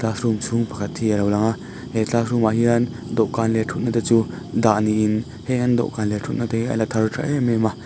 room chhung pakhat hi alo lang a he classroom ah hian dawhkan leh thutna te chu dah niin heng an dawhkan leh thutna te hi ala thar tha em em a.